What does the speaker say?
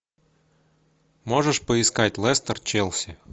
можешь поискать лестер челси